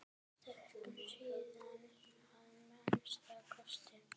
Stöku sinnum að minnsta kosti.